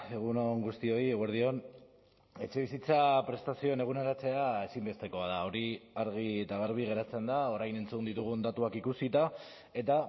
egun on guztioi eguerdi on etxebizitza prestazioen eguneratzea ezinbestekoa da hori argi eta garbi geratzen da orain entzun ditugun datuak ikusita eta